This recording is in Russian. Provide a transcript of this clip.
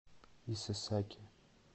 исэсаки